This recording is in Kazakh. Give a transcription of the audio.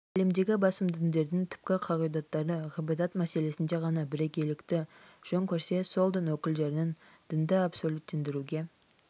әлемдегі басым діндердің түпкі қағидаттары ғибадат мәселесінде ғана бірегейлікті жөн көрсе сол дін өкілдерінің дінді абсолюттендіруге